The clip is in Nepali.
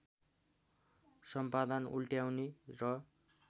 सम्पादन उल्ट्याउने र